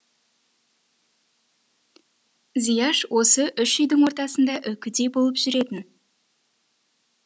зияш осы үш үйдің ортасында үкідей болып жүретін